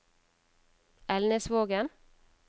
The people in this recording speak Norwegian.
Elnesvågen